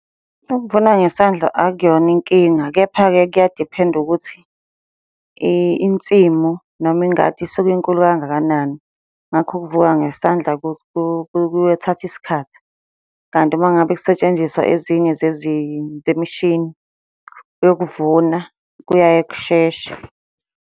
Ukuvuna ngesandla akuyona inkinga, kepha-ke kuyadiphenda ukuthi insimu noma ingadi isuke inkulu kangakanani. Ngakho ukuvuka ngesandla kuyothatha isikhathi, kanti uma ngabe kusetshenziswa ezinye zezinto, imishini yokuvuna kuyaye kusheshe.